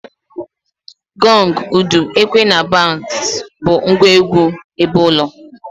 Goge, udu, ekwe na bats bu ngwa egwu ebeulo.